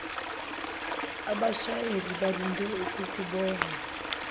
abashayeli balindele ukukubona